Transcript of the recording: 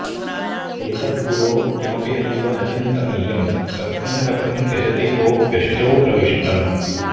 एतद्गुरोः किमपि नैव न चिन्तनीयं रत्नं कथं त्यजति कोऽप्यशुचौ प्रविष्टम्